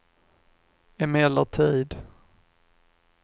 emellertid